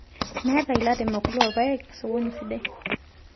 Meeta ilairemok loorpayek sokoni sidai